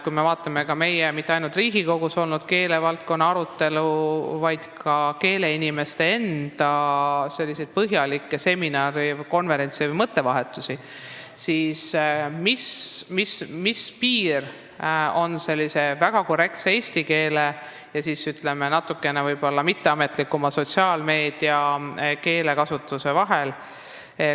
Kui me meenutame Riigikogus toimunud keelevaldkonna arutelu ning ka keeleinimeste enda korraldatud põhjalikke seminare, konverentse või mõttevahetusi, siis tekibki küsimus, kus on piir väga korrektse eesti keele ja natukene võib-olla mitteametlikuma, sotsiaalmeedia keelekasutuse vahel.